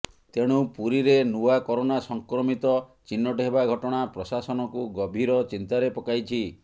ତେଣୁ ପୁରୀରେ ନୂଆ କରୋନା ସଂକ୍ରମିତ ଚିହ୍ନଟ ହେବା ଘଟଣା ପ୍ରଶାସନକୁ ଗଭୀର ଚିନ୍ତାରେ ପକାଇଛି